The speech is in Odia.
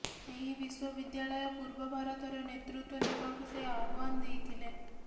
ଏହି ବିଶ୍ବବିଦ୍ୟାଳୟ ପୂର୍ବ ଭାରତର ନେତୃତ୍ବ ନେବାକୁ ସେ ଆହ୍ବାନ ଦେଇଥିଲେ